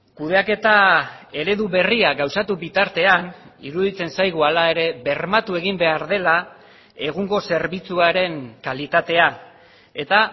kudeaketa eredu berria gauzatu bitartean iruditzen zaigu hala ere bermatu egin behar dela egungo zerbitzuaren kalitatea eta